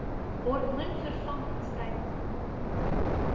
hormoonvervangings tydens menopouse